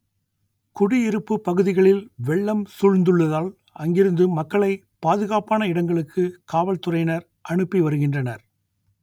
குடியிருப்பு பகுதிகளில் வெள்ளம் சூழ்ந்துள்ளதால் அங்கிருந்து மக்களை பாதுகாப்பான இடங்களுக்கு காவல்துறையினர் அனுப்பி வருகின்றனர்